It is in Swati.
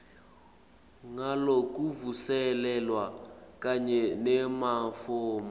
ngalokuvuselelwa kanye nemafomu